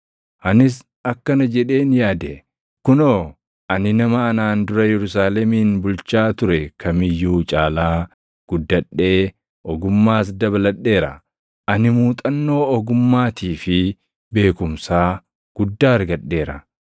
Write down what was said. Anis akkana jedheen yaade; “Kunoo, ani nama anaan dura Yerusaalemin bulchaa ture kam iyyuu caalaa guddadhee ogummaas dabaladheera; ani muuxannoo ogummaatii fi beekumsaa guddaa argadheera.”